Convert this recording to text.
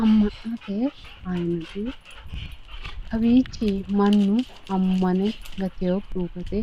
Amma'noti ayinati kawiichi mannu ammane gatewokkihu gede